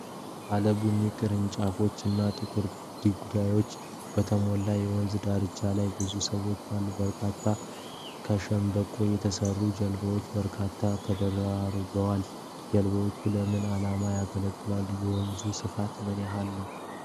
ባለ ቡኒ ቅርንጫፎች እና ጥቁር ድንጋዮች በተሞላ የወንዝ ዳርቻ ላይ ብዙ ሰዎች አሉ። በርካታ ከሸምበቆ የተሰሩ ጀልባዎች በዳርቻው ተደራርበዋል። ጀልባዎቹ ለምን ዓላማ ያገለግላሉ? የወንዙ ስፋት ምን ያህል ነው?